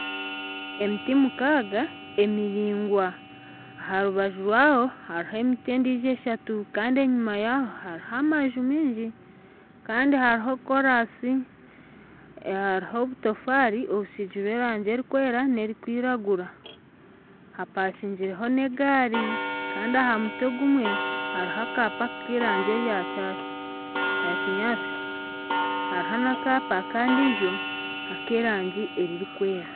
Emiti mukaaga emiraingwa aha rubaju rwayo hariho emiti endiijo eshatu kandi enyima yaayo hariho amaju maingi kandi hariho koraasi hariho obutafaari obusigire erangi erikwiragura hapakaingire n'egaari kandi aha muti ogumwe hariho akaapa k'erangi eyakinyaatsi hariho n'akaapa akandi ek'erangi erikwera